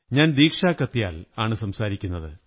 ഞാൻ ദീക്ഷാ കത്യാൽ ആണ് സംസാരിക്കുന്നത്